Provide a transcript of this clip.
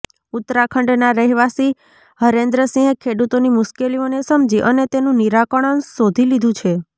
ઉત્તરાખંડના રહેવાસી હરેન્દ્ર સિંહે ખેડૂતોની મુશ્કેલીઓને સમજી અને તેનુ નિરાકરણ શોધી લીધું છે